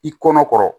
I kɔnɔ kɔrɔ